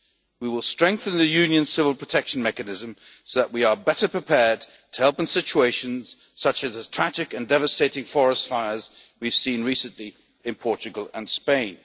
needs. We will strengthen the Union's Civil Protection Mechanism so that we are better prepared to help in situations such as the tragic and devastating forest fires we have seen recently in Portugal